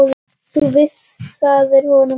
Þú vísaðir honum út.